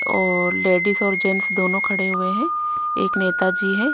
और लेडिस और जेंट्स दोनों खड़े हुए है एक नेता जी हैं--